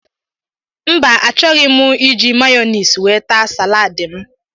Mba achọghị mụ iji Mayonaise wee taa salaadi m.